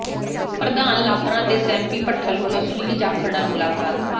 ਪ੍ਰਧਾਨ ਲਾਪਰਾਂ ਤੇ ਸੈਂਪੀ ਭੱਠਲ ਵੱਲੋਂ ਸੁਨੀਲ ਜਾਖੜ ਨਾਲ ਮੁਲਾਕਾਤ